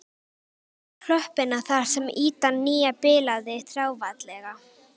Hann sýnir mér klöppina þar sem ýtan nýja bilaði þráfaldlega.